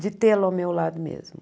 de tê-lo ao meu lado mesmo.